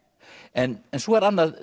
en svo er annað